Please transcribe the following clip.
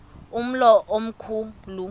umlo omkhu lu